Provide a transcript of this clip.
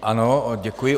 Ano, děkuji.